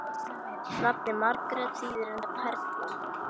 Nafnið Margrét þýðir reyndar perla.